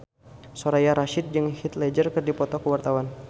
Soraya Rasyid jeung Heath Ledger keur dipoto ku wartawan